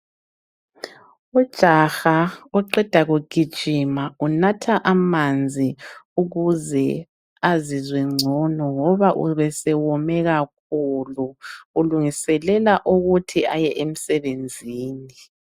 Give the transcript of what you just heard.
Ujaha oqeda kugijima unatha amanzi ukuze azizwe ngcono ngoba ubesewome kakhulu. Ulungiselela ukuthi aye emsebenzini.